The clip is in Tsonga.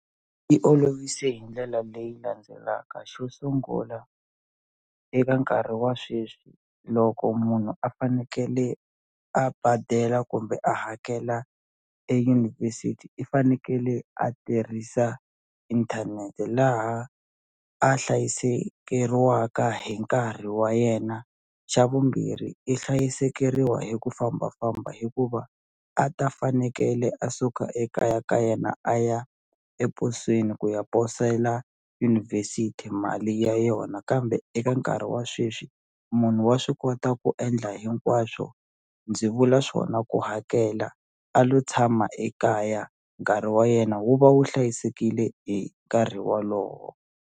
I olovise hi ndlela leyi landzelaka xo sungula eka nkarhi wa sweswi loko munhu a fanekele a badela kumbe a hakela eyunivhesiti i fanekele a tirhisa inthanete laha a hlayisekeriwaka hi nkarhi wa yena xa vumbirhi i hlayisekeriwa hi ku fambafamba hikuva a ta fanekele a suka ekaya ka yena a ya eposweni ku ya posela yunivhesiti mali ya yona kambe eka nkarhi wa sweswi munhu wa swi kota ku endla hinkwaswo ndzi vula swona ku hakela a lo tshama ekaya nkarhi wa yena wu va wu hlayisekile hi nkarhi walowo.